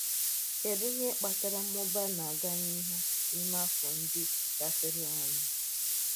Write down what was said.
Kedu ihe kpatara mmụba na-aga n’ihu n’ime afọ́ ndị gafeworonụ?